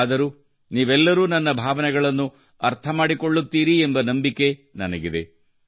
ಆದರೂ ನೀವೆಲ್ಲರೂ ನನ್ನ ಅನಿಸಿಕೆಗಳನ್ನು ಅರ್ಥ ಮಾಡಿಕೊಳ್ಳುತ್ತೀರಿ ನನ್ನ ಭಾವನೆಗಳನ್ನು ಅರ್ಥ ಮಾಡಿಕೊಳ್ಳುತ್ತೀರಿ ಎಂಬ ನಂಬಿಕೆ ನನಗಿದೆ